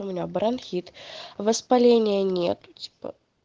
у меня бронхит воспаления нет типа